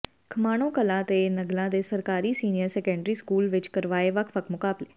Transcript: ਖਮਾਣੋਂ ਕਲਾਂ ਤੇ ਨਗਲ੍ਹਾ ਦੇ ਸਰਕਾਰੀ ਸੀਨੀਅਰ ਸੈਕੰਡਰੀ ਸਕੂਲ ਵਿੱਚ ਕਰਵਾਏ ਵੱਖਵੱਖ ਮੁਕਾਬਲੇ